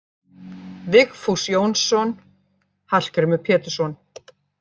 Vigfús Jónsson: Hallgrímur Pétursson